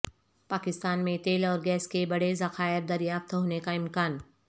پاکستان میں تیل اور گیس کے بڑے ذخائر دریافت ہونے کا امکان